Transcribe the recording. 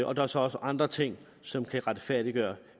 og der er så også andre ting som kan retfærdiggøre